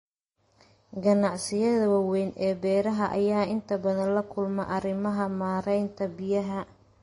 Ganacsiyada waaweyn ee beeraha ayaa inta badan la kulma arrimaha maaraynta biyaha.